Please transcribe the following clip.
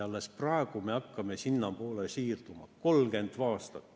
Alles praegu me hakkame sinnapoole siirduma.